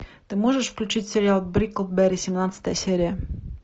ты можешь включить сериал бриклберри семнадцатая серия